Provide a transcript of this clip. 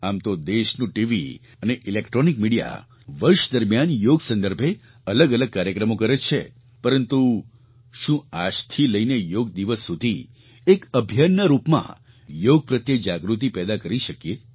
આમ તો દેશનું ટીવી અને ઇલેક્ટ્રૉનિક મિડિયા વર્ષ દરમિયાન યોગ સંદર્ભે અલગઅલગ કાર્યક્રમો કરે જ છે પરંતુ શું આજથી લઈને યોગ દિવસ સુધી એક અભિયાનના રૂપમાં યોગ પ્રત્યે જાગૃતિ પેદા કરી શકીએ